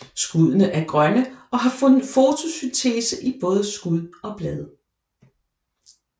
Skuddene er grønne og har fotosyntese i både skud og blade